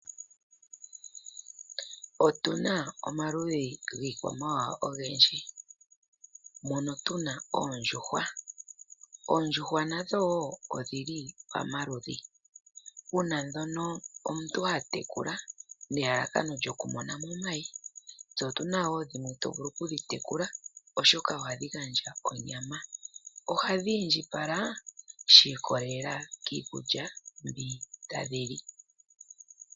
Otu na omaludhi giikwamawawa ogendji, mono tu na oondjuhwa . Oondjuhwa nadho wo odhi li pamaludhi, pu na ndhono omuntu ha tekula nelalakano lyokumona mo omayi. Otu na wo ndhono tovulu okutekula, oshoka ohadhi gandja onyama. Ohadhi indjipala shi ikolelela kiikulya mbi tadhi li.